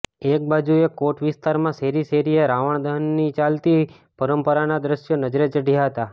એકબાજુએ કોટ વિસ્તારમાં શેરી શેરીએ રાવણ દહનની ચાલતી પરંપરાના દૃશ્યો નજરે ચઢયા હતા